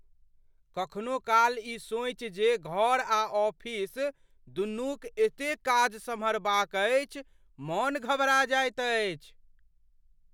कखनो काल ई सोचि जे घर आ ऑफिस दुनूक एतेक काज सम्हारबाक अछि, मन घबरा जाइत अछि।